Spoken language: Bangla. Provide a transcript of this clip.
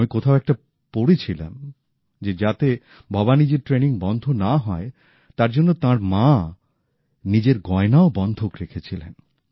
আমি কোথাও একটা পড়ছিলাম যে যাতে ভবানীজীর ট্রেনিং বন্ধ না হয় তার জন্য তাঁর মা নিজের গয়নাও বন্ধক রেখেছিলেন